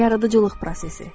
Yaradıcılıq prosesi.